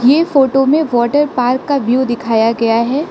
ये फोटो में water park का व्यू दिखाया गया है।